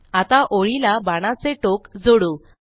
आता ओळीला बाणाचे टोक जोडू